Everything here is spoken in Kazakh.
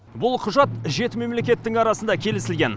бұл құжат жеті мемлекеттің арасында келісілген